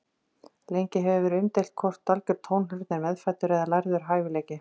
Lengi hefur verið umdeilt hvort algjör tónheyrn er meðfæddur eða lærður hæfileiki.